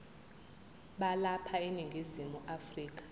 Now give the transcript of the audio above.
balapha eningizimu afrika